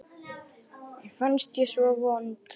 Mér fannst ég svo vond.